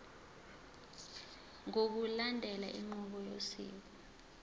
ngokulandela inqubo yosiko